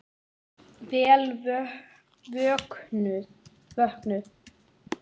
Vel vöknuð!